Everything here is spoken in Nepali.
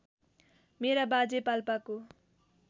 मेरा बाजे पाल्पाको